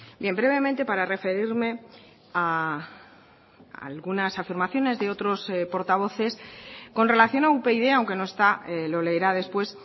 bien brevemente para referirme a algunas afirmaciones de otros portavoces con relación a upyd aunque no está lo leerá después